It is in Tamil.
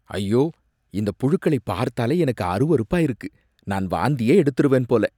ஐயோ! இந்த புழுக்களை பார்த்தாலே எனக்கு அருவருப்பா இருக்கு, நான் வாந்தியே எடுத்திருவேன் போல.